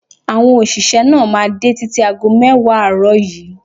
Àwọn òṣìṣẹ́ máa dé títí ago mẹ́wàá àárọ̀ yìí.